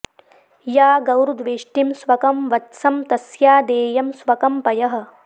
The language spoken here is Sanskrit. या गौर्द्वेष्टिं स्वकं वत्सं तस्या देयं स्वकं पयः